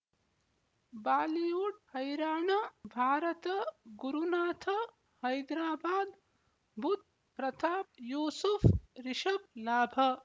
Bollywood ಹೈರಾಣ ಭಾರತ ಗುರುನಾಥ ಹೈದರಾಬಾದ್ ಬುಧ್ ಪ್ರತಾಪ್ ಯೂಸುಫ್ ರಿಷಬ್ ಲಾಭ